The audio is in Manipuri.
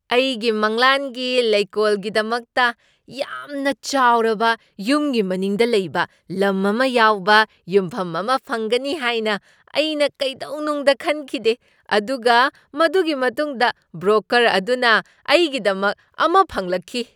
ꯑꯩꯒꯤ ꯃꯪꯂꯥꯟꯒꯤ ꯂꯩꯀꯣꯜꯒꯤꯗꯃꯛꯇ ꯌꯥꯝꯅ ꯆꯥꯎꯔꯕ ꯌꯨꯝꯒꯤ ꯃꯅꯤꯡꯗ ꯂꯩꯕ ꯂꯝ ꯑꯃ ꯌꯥꯎꯕ ꯌꯨꯝꯐꯝ ꯑꯃ ꯐꯪꯒꯅꯤ ꯍꯥꯏꯅ ꯑꯩꯅ ꯀꯩꯗꯧꯅꯨꯡꯗ ꯈꯟꯈꯤꯗꯦ, ꯑꯗꯨꯒ ꯃꯗꯨꯒꯤ ꯃꯇꯨꯡꯗ ꯕ꯭ꯔꯣꯀꯔ ꯑꯗꯨꯅ ꯑꯩꯒꯤꯗꯃꯛ ꯑꯃ ꯐꯪꯂꯛꯈꯤ!